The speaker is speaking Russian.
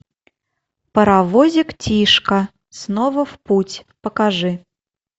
паровозик тишка снова в путь покажи